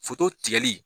tigɛli